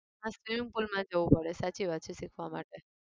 હા swimming pool માં જવું પડે સાચી વાત છે શીખવા માટે